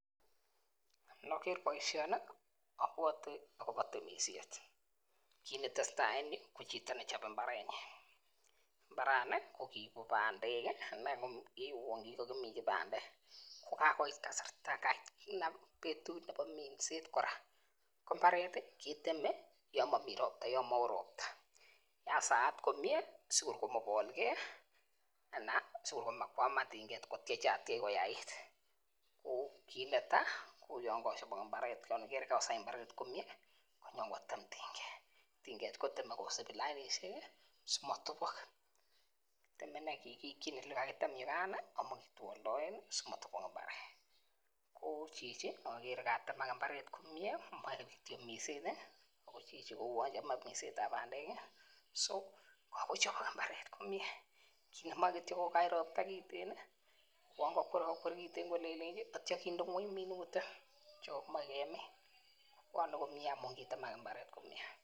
Noker boishoni obwotii akobo temishet. Kite nesetai en yuu ko chito nechobe imbarenyin, imbarani ko kibo pandek kii ne uwon kikokiminchi pandek ko kakoit kasarta kakonam betut nebo minset koraa ko imbaret tii keteme yon momii ropta yon moo ropta yan saat komie sikor komobolgee ana sikor komakwaman tunket sikotyechatyech kiyait ko kit netai yon ikere kochobok imbaret kosai imbaret komie konyin kotem tinket koteme kisibi lainishek kii simotubok, teme inee kiikikin yuu ko katem yekan nii amo kitwoldoen nii simotubok imbaret. Ko chichi okere katemek imbaret komie moi minset tii ako chichi ko uwon chome mindetab pandek kii so kakochibok imbaret komie komoi kityok kokany ropta kitten nii uwon kokwerokwer kitten kolelenji ak ityo kinde ngweny minutik che kokimoi kemin, bwone komie amun kutemek imbaret komie.